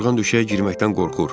Yorğan döşəyə girməkdən qorxur.